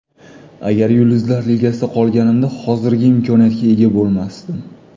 Agar Yulduzlar ligasida qolganimda, hozirgi imkoniyatga ega bo‘lmasdim.